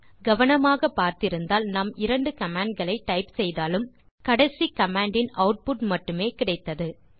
கவனமாக பார்த்திருந்தால் நாம் இரண்டு கமாண்ட் களை டைப் செய்தாலும் கடைசி கமாண்ட் இன் ஆட்புட் மட்டுமே கிடைத்தது